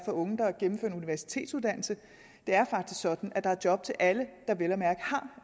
unge der har gennemført en universitetsuddannelse det er faktisk sådan at der er job til alle der vel at mærke har